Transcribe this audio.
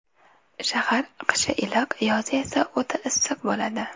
Shahar qishi iliq, yozi esa o‘ta issiq bo‘ladi.